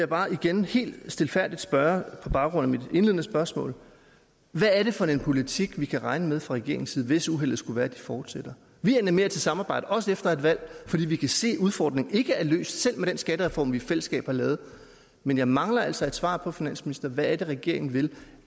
bare igen helt stilfærdigt spørge på baggrund af mit indledende spørgsmål hvad er det for en politik vi kan regne med fra regeringens side hvis uheldet skulle være de fortsætter vi animerer til samarbejde også efter et valg fordi vi kan se at udfordringen ikke er løst selv med den skattereform vi i fællesskab har lavet men jeg mangler altså et svar på finansminister hvad det er regeringen vil